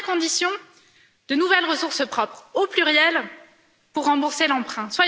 Première condition de nouvelles ressources propres, au pluriel, pour rembourser l'emprunt.